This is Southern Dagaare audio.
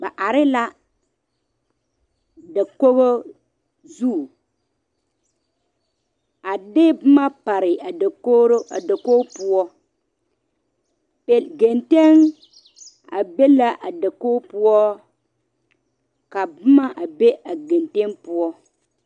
Ba are la dakogo zu a de boma pare o zu a dakori poɔ ka gatenɛ be la a dakogo poɔ ka boma be a gatenɛ poɔ.